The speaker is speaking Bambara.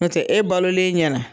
N'o tɛ e balolen ɲɛna